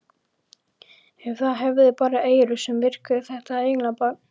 Ef það hefði bara eyru sem virkuðu þetta englabarn!